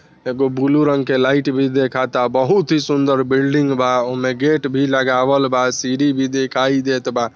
एगो ब्लू रंग की लाइट भी देखा था बहुत ही सुन्दर बिल्डिंग बा उसमे गेट भी लगावल बा सीडी भी दिखाई देत बा।